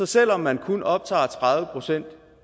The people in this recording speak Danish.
selv om man kun optager tredive procent